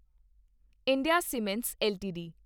India Cements LTD